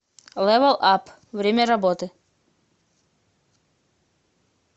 лэвэл ап время работы